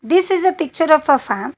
This is a picture of a farm.